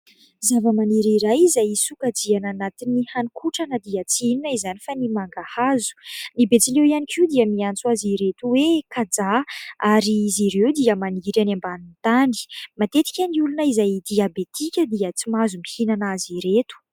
Zavamaniry iray izay sokajiana anatin'ny haninkotrana dia tsy inona izany fa ny mangahazo. Ny betsileo ihany koa dia miantso azy ireto hoe kajaha. Ary izy ireo dia maniry any ambanin'ny tany. Matetika ny olona izay diabetika dia tsy mahazo mihinana azy ireto.